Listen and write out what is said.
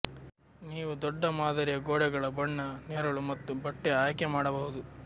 ನೀವು ದೊಡ್ಡ ಮಾದರಿಯ ಗೋಡೆಗಳ ಬಣ್ಣ ನೆರಳು ಮತ್ತು ಬಟ್ಟೆಯ ಆಯ್ಕೆ ಮಾಡಬಹುದು